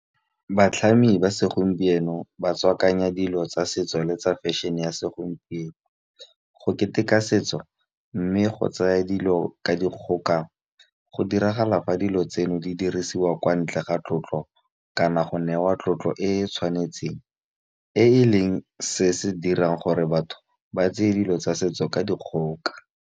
Batlhami ba segompieno ba tswakanya dilo tsa setso le tsa fashion-e ya segompieno. Go keteka setso mme go tsaya dilo ka dikgoka go diragala fa dilo tseno di dirisiwa kwa ntle ga tlotlo kana go newa tlotlo e e tshwanetseng. E e leng se se dirang gore batho ba tseye dilo tsa setso ka dikgoka.